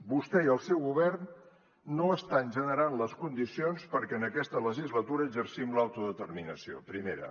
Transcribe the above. vostè i el seu govern no estan generant les condicions perquè en aquesta legislatura exercim l’autodeterminació primera